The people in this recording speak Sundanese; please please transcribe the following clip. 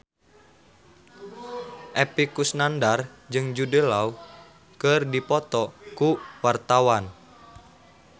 Epy Kusnandar jeung Jude Law keur dipoto ku wartawan